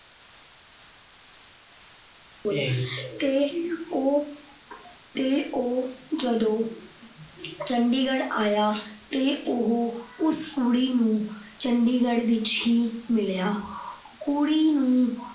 ਤੇ ਉਹ ਅਹ ਤੇ ਉਹ ਜਦੋਂ ਚੰਡੀਗੜ੍ਹ ਆਇਆ ਤੇ ਉਹ ਉਸ ਕੁੜੀ ਨੂੰ ਚੰਡੀਗੜ੍ਹ ਵਿੱਚ ਹੀ ਮਿਲਿਆ।